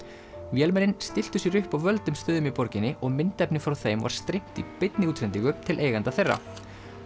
vélmennin stilltu sér upp á völdum stöðum í borginni og myndefni frá þeim var streymt í beinni útsendingu til eigenda þeirra